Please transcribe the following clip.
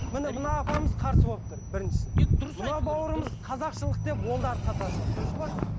міне мына апамыз қарсы болып тұр біріншісі мына бауырымыз қазақшылық деп ол да артқа тартыватыр дұрыс па